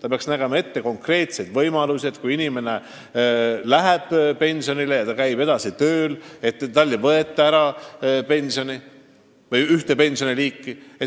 Aga kindlasti see peab ette nägema, et kui inimene läheb pensionile ja käib edasi tööl, siis talt mingit liiki pensioni ära ei võeta.